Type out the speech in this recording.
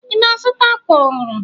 Ị na-azụta àkwà ọhụrụ?